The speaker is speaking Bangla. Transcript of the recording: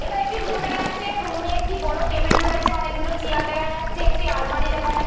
এখানে একটি রুম দেখা যাচ্ছে। রুম - এ একটি বড় টেবিল রয়েছে অনেকগুলো চেয়ার দেখা যাচ্ছে একটি আলমারী দেখা যা --